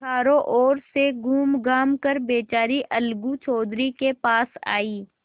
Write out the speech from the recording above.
चारों ओर से घूमघाम कर बेचारी अलगू चौधरी के पास आयी